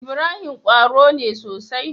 Ibrahim qwaro ne sosai